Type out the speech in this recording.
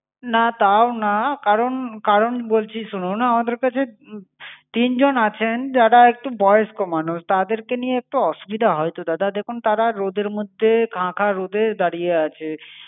না তাও না, কারণ কারণ বলছি শুনুন, আমাদের কাছে তিন জন আছেন, যারা একটু বয়স্ক মানুষ। তাদেরকে নিয়ে একটু অসুবিধা হয়ত দাদা। দেখুন তারা রোদের মধ্যে খাঁ খাঁ রোদে দাড়িয়ে আছে।